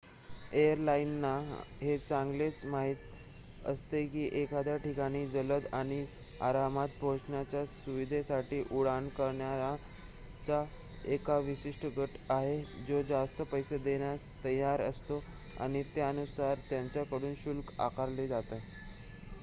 एअरलाइनना हे चांगलेच माहित असते की एखाद्या ठिकाणी जलद आणि आरामात पोहोचण्याच्या सुविधेसाठी उड्डाण करणाऱ्यांचा एक विशिष्ट गट आहे जो जास्त पैसे देण्यास तयार असतो आणि त्यानुसार त्यांच्याकडून शुल्क आकारले जाते